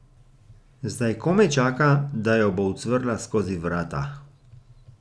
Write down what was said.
Zdaj komaj čaka, da jo bo ucvrla skozi vrata.